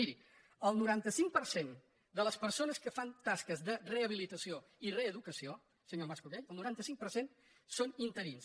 miri el noranta cinc per cent de les persones que fan tasques de rehabilitació i reeducació senyor mas·colell el noranta cinc per cent són interins